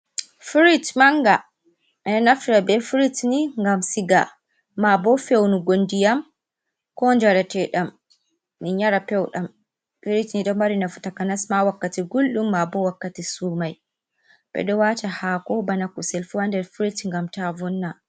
Firish Manga : Ɓeɗo naftira be firish ngam siga mabo fewnugo ndiyam ko njarate'ɗam min yara peuɗam. firish ni ɗo mari nafu takanas ma wakkati guldum mabo wakkati sumai. Ɓedo wata haako, bana kusel fu ha nder firish ngam ta vonna.